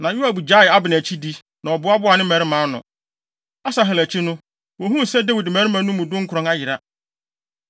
Na Yoab gyaee Abner akyidi, na ɔboaboaa ne mmarima ano. Asahel akyi no, wohuu sɛ Dawid mmarima no mu dunkron ayera.